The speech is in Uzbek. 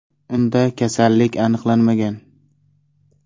Unda kasallik aniqlanmagan.